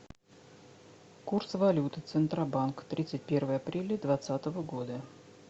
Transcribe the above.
курс валюты центробанк тридцать первое апреля двадцатого года